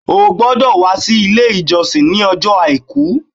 O gbọ́dọ̀ wá sí Ilé ìjọsìn ní ọjọ́ Àìkú